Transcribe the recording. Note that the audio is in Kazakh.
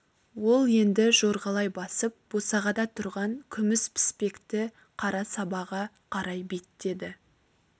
ол енді жорғалай басып босағада тұрған күміс піспекті қара сабаға қарай беттеді